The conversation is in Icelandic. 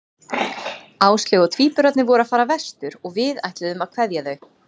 Áslaug og tvíburarnir voru að fara vestur og við ætluðum að kveðja þau.